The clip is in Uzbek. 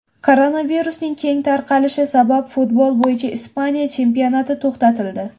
Koronavirusning keng tarqalishi sabab futbol bo‘yicha Ispaniya chempionati to‘xtatildi.